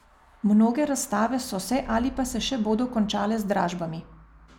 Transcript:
Mnoge razstave so se ali pa se še bodo končale z dražbami.